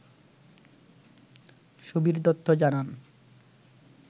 সুবির দত্ত জানান